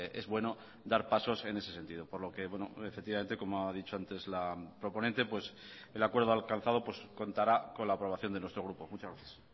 es bueno dar pasos en ese sentido por lo que efectivamente como ha dicho antes la proponente el acuerdo alcanzado contará con la aprobación de nuestro grupo muchas gracias